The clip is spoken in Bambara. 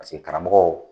Paseke karamɔgɔw